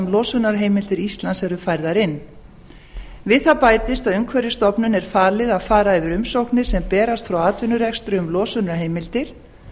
losunarheimildir íslands eru færðar inn við það bætist að umhverfisstofnun er falið að fara yfir umsóknir sem berast frá atvinnurekstri um losunarheimildir